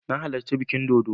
Na halarci bikin dodo